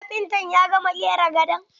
Kafintan ya gama ƙera gadon?